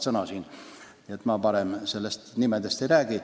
Nii et ma parem nimesid ei maini.